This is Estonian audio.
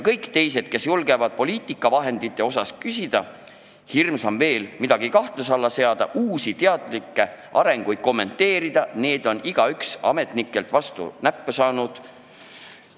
Kõik, kes on julgenud poliitikavahendite kohta küsida või veelgi hirmsam, midagi kahtluse alla seada, uusi teadlikult soodustatud arenguid kommenteerida, on igaüks ametnikelt vastu näppe saanud.